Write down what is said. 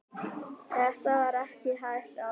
þetta var ekki hægt áður